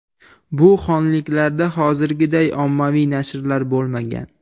Bu xonliklarda hozirgiday ommaviy nashrlar bo‘lmagan.